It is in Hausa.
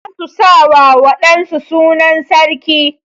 Za su sa wa wa ɗan su sunan sarki.